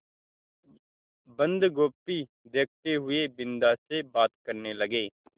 बन्दगोभी देखते हुए बिन्दा से बात करने लगे